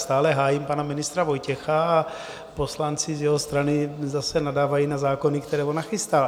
Stále hájím pana ministra Vojtěcha a poslanci z jeho strany zase nadávají na zákony, které on nachystal.